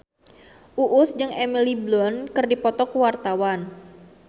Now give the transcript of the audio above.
Uus jeung Emily Blunt keur dipoto ku wartawan